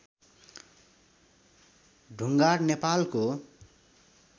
ढुङ्गाड नेपालको